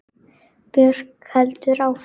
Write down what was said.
Björk heldur áfram.